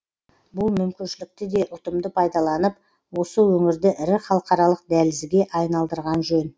бұл мүмкіншілікті де ұтымды пайдаланып осы өңірді ірі халықаралық дәлізге айналдырған жөн